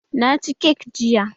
Na ci kek jiya